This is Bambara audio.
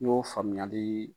y'o faamuyali